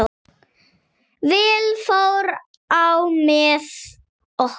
Vel fór á með okkur.